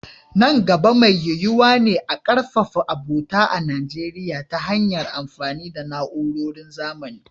Nan gaba, mai yiyuwa ne a ƙarfafa abota a Najeriya ta hanyar amfani da na’urorin zamani.